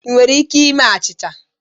Ị nwere ike ime achịcha?